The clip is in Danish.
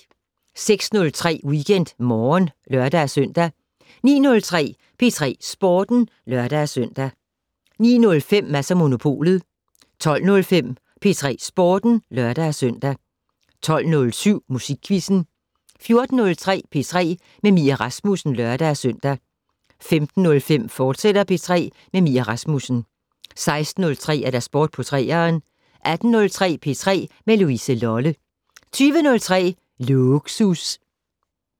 06:03: WeekendMorgen (lør-søn) 09:03: P3 Sporten (lør-søn) 09:05: Mads & Monopolet 12:05: P3 Sporten (lør-søn) 12:07: Musikquizzen 14:03: P3 med Mie Rasmussen (lør-søn) 15:05: P3 med Mie Rasmussen, fortsat 16:03: Sport på 3'eren 18:03: P3 med Louise Lolle 20:03: Lågsus